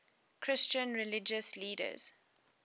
christian religious leaders